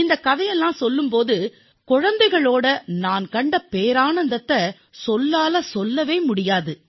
இந்தக் கதையைக் கூறும் வேளையில் குழந்தைகளிடத்தில் நான் கண்ட ஆனந்தத்தை சொல்லில் வடிக்க முடியாது